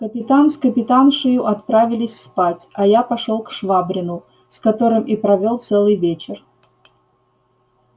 капитан с капитаншею отправились спать а я пошёл к швабрину с которым и провёл целый вечер